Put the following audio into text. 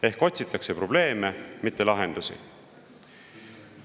Ehk siis otsitakse probleeme, mitte lahendusi.